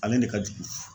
Ale de ka jugu